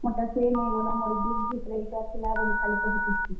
ମୋର୍ ଟା ସେ ନେଇଗଲା ମୋର୍ gift ଭିତ୍ ରେ ଇଟା ଥିଲା ବଲି ଖାଲି କହୁଥିସି।